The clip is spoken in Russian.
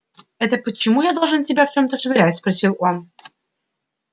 это почему я должен в тебя чем-то швырять спросил он